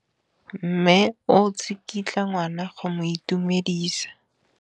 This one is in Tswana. Mme o tsikitla ngwana go mo itumedisa.